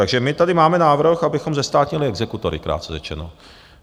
Takže my tady máme návrh, abychom zestátnili exekutory, krátce řečeno.